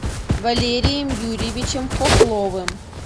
валерием юрьевичем хохловым